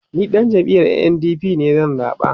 ni ɗan jam'iyar NNDP zan zaɓa